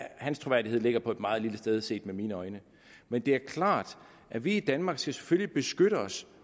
hans troværdighed ligger på et meget lille sted set med mine øjne men det er klart at vi i danmark selvfølgelig skal beskytte os